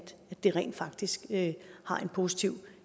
det rent faktisk har en positiv